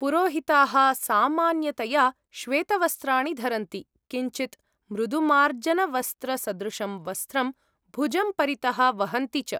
पुरोहिताः सामान्यतया श्वेतवस्त्राणि धरन्ति, किञ्चित् मृदुमार्जनवस्त्रसदृशं वस्त्रं भुजं परितः वहन्ति च।